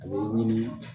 A bɛ ɲini